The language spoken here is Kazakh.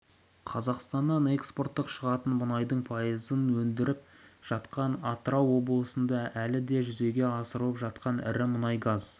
қазақстаннан экспортқа шығатын мұнайдың пайызын өндіріп жатқан атырау облысында әлі де жүзеге асырылып жатқан ірі мұнай-газ